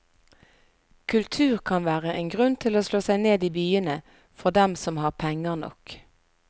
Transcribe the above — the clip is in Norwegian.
Kultur kan være en grunn til å slå seg ned i byene for dem som har penger nok.